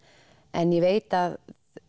en ég veit að